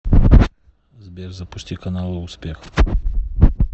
сбер запусти каналы успех